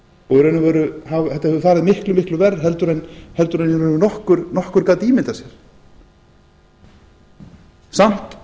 og þetta hefur farið miklu verr heldur en í raun og veru nokkur gat ímyndað sér samt